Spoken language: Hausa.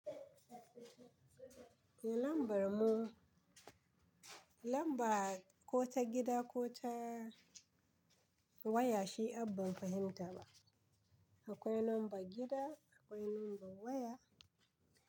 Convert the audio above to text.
Eh lambar mu, lamba ko ta gida ko ta waya shi abban fahimta ba. Akwai number gida, akwai number waya.